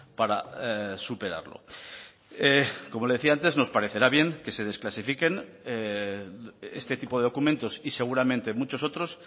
para superarlo como le decía antes nos parecerá bien que se desclasifiquen este tipo de documentos y seguramente muchos otros